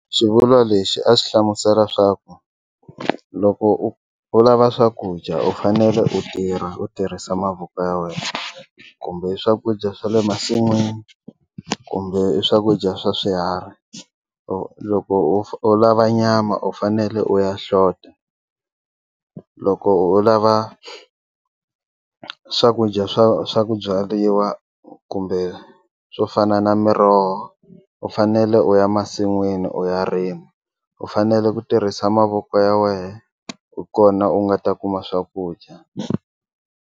Xivulwa lexi a xi hlamusela swa ku loko u lava swakudya u fanele u tirha u tirhisa mavoko ya wena kumbe swakudya swa le masin'wini kumbe swakudya swa swiharhi u loko u lava nyama u fanele u ya hlota loko u lava swakudya swa swa ku byariwa kumbe swo fana na miroho u fanele u ya masin'wini u ya rima u fanele ku tirhisa mavoko ya wena hi kona u nga ta kuma swakudya.